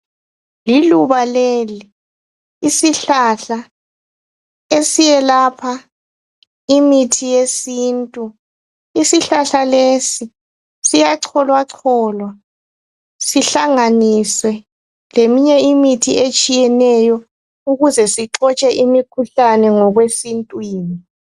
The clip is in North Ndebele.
Liluba leli, isihlahla esiyelapha imithi yesintu. Isihlahla lesi siyacholwacholwa sihlanganiswe leminye imithi etshiyeneyo ukuze sixotshe imikhuhlane ngokwesintwini.